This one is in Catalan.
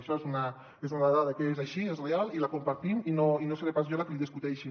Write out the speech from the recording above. això és una dada que és així és real i la compartim i no seré pas jo la que li discuteixi